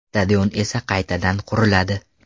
Stadion esa qaytadan quriladi.